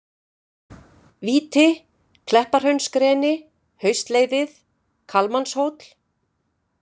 Víti, Kleppahraunsgreni, Hestleiðið, Kalmannshóll